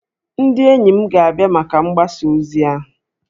Ndị enyi m ga-abịa maka mgbasa ozi ahụ